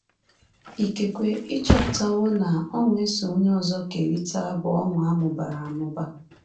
Ikekwe ị chọpụtawo na ọṅụ e so onye ọzọ kerịta bụ ọṅụ a mụbara amụba.